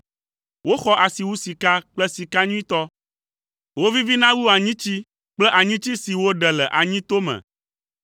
Woxɔ asi wu sika kple sika nyuitɔ; wovivina wu anyitsi kple anyitsi si woɖe le anyito me.